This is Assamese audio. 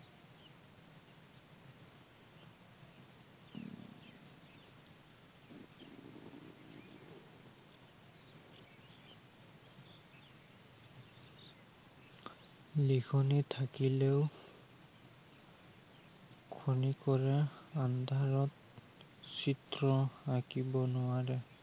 লিখনি থাকিলেও খনিকৰে আন্ধাৰত, চিত্ৰ আঁকিব নোৱাৰে।